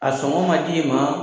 A sɔngɔ ma di e ma!